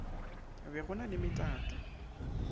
be go na le metato